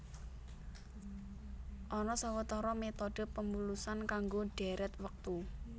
Ana sawetara métodhe pemulusan kanggo dhèrèt wektu